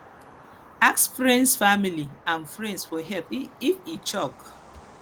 ask friends family and friends for help if e choke